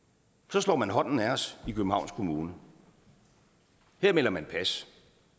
slår man hånden af os i københavns kommune her melder man pas